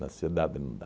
Na cidade não dá.